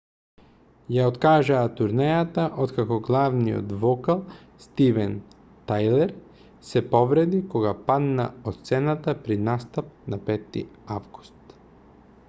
ја откажаа турнејата откако главниот вокал стивен тајлер се повреди кога падна од сцената при настап на 5 август